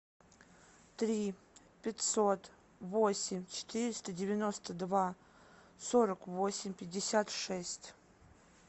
три пятьсот восемь четыреста девяносто два сорок восемь пятьдесят шесть